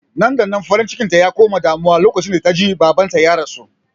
Nan-da-nan farin cikinta ya koma damuwa lokacin da ta ji babanta ya rasu